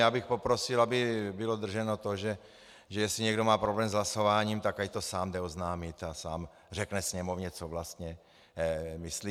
Já bych poprosil, aby bylo drženo to, že jestli někdo má problém s hlasováním, tak ať to sám jde oznámit a sám řekne Sněmovně, co vlastně myslí.